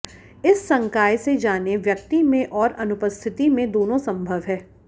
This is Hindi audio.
इस संकाय से जानें व्यक्ति में और अनुपस्थिति में दोनों संभव है